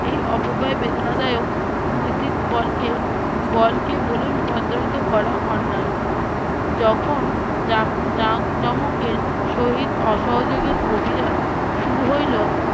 এই অপবায় বেদনাদায়ক নৈতিক বলকে বলকে বোলে রূপান্তর করা অন্যায়। যখন যাক~ জাম~ জাঁকজমকের সহিত অসহযোগের অভিযান শুরু হইলো-